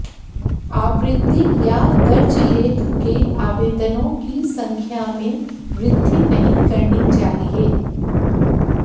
आवृत्ति या दर्ज लेख के आवेदनों की संख्या में वृद्धि नहीं करनी चाहिए